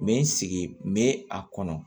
N bɛ n sigi n bɛ a kɔnɔ